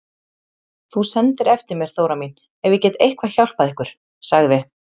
Þú sendir eftir mér Þóra mín ef ég get eitthvað hjálpað ykkur, sagði